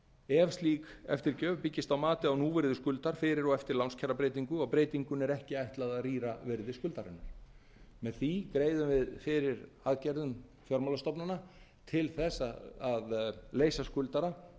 ef slík eftirgjöf byggist álagi á núvirði skuldar fyrir og eftir lánskjarabreytingu og breytingunni er ekki ætlað að rýra virði skuldarinnar með því greiðum við fyrir aðgerðum fjármálastofnana til þess að leysa skuldara